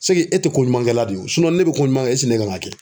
e tɛ ko ɲuman kɛla don ne bɛ ko ɲuman kɛ ne kan ka kɛ.